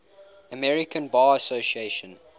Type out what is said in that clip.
american bar association